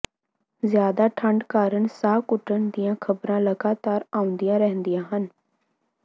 ਜ਼ਿਆਦਾ ਠੰਢ ਕਾਰਨ ਸਾਹ ਘੁਟਣ ਦੀਆਂ ਖਬਰਾਂ ਲਗਾਤਾਰ ਆਉਂਦੀਆਂ ਰਹਿੰਦੀਆਂ ਹਨ